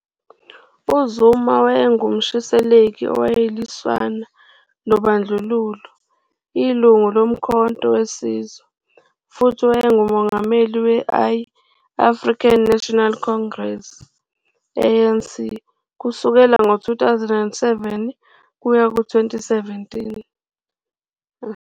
UZuma wayengumshisekeli owayeliswana nobandlululo, ilungu loMkhonto weSizwe, futhi wayengumongameli we-I-African National Congress, ANC, kusukela ngo-2007 kuya ku-2017.